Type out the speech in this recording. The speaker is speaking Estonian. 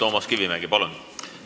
Toomas Kivimägi, palun!